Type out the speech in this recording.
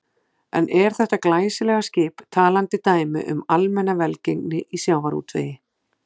En er þetta glæsilega skip talandi dæmi um almenna velgengni í sjávarútvegi?